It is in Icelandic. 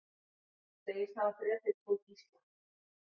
Segist hafa drepið tvo gísla